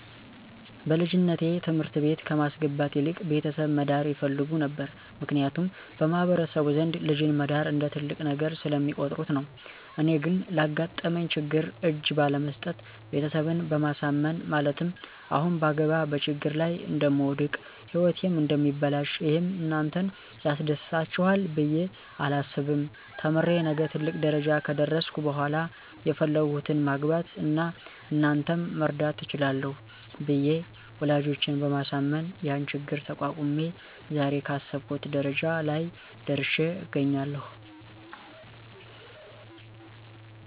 በልጅነቴ ትምህርት ቤት ከማስገባት ይልቅ ቤተሰብ መዳር ይፈልጉ ነበር ምክንያቱም በማህበረሰቡ ዘንድ ልጅን መዳር እንደ ትልቅ ነገር ስለሚቆጥሩት ነው። እኔ ግን ላጋጠመኝ ችግር እጅ ባለመስጠት ቤተሰብን በማሳመን ማለትም አሁን ባገባ በችግር ላይ እደምወድቅ ህይወቴም እደሚበላሽ ይህም እናንተን ያስደስታችሇል ብየ አላስብም ተምሬ ነገ ትልቅ ደረጃ ከደረስሁ በሇላ የፈለግሁትን ማግባት አና እናንተንም መርዳት እችላለሁ ብየ ወላጆቸን በማሳመን ያን ችግር ተቋቁሜ ዛሬ ካሰብሁት ደረጃ ላይ ደርሽ አገኛለሁ።